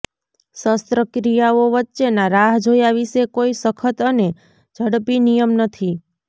શસ્ત્રક્રિયાઓ વચ્ચેના રાહ જોયા વિશે કોઈ સખત અને ઝડપી નિયમ નથી